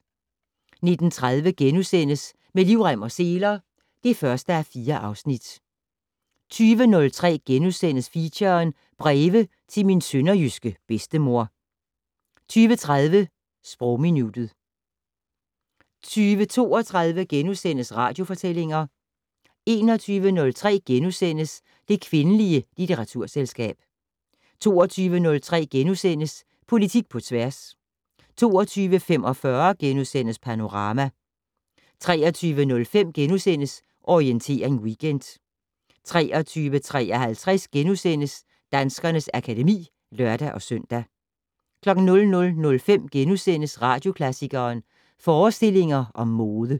19:30: Med livrem og seler (1:4)* 20:03: Feature: Breve til min sønderjyske bedstemor * 20:30: Sprogminuttet 20:32: Radiofortællinger * 21:03: Det kvindelige litteraturselskab * 22:03: Politik på tværs * 22:45: Panorama * 23:05: Orientering Weekend * 23:53: Danskernes akademi *(lør-søn) 00:05: Radioklassikeren: Forestillinger om mode *